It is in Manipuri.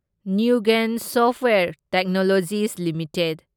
Newgen software technologies limited